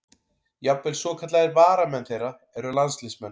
Jafnvel svokallaðir varamenn þeirra eru landsliðsmenn.